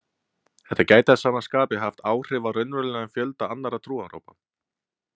Þetta gæti að sama skapi haft áhrif á raunverulegan fjölda annarra trúarhópa.